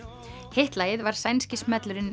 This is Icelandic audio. hitt lagið var sænski smellurinn